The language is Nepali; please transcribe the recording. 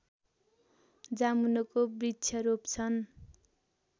जामुनोको वृक्ष रोप्छन्